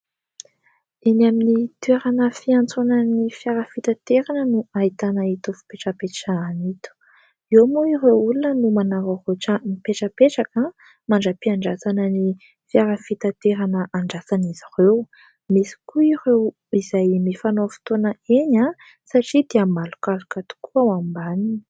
Eny amin'ny toerana fiantsonan'ny fiara fitaterana no ahitana itony fipetrapetrahana itony, eo moa ireo olona no manararaotra mipetrapetraka mandra-piandrasana ny fiara fitaterana andrasan'izy ireo, misy koa ireo izay mifanao fotoana eny satria dia malomaloka tokoa ao ambaniny.